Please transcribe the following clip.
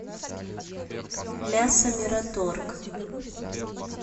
мясо мираторг